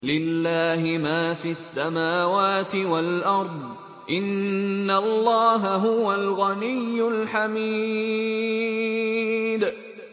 لِلَّهِ مَا فِي السَّمَاوَاتِ وَالْأَرْضِ ۚ إِنَّ اللَّهَ هُوَ الْغَنِيُّ الْحَمِيدُ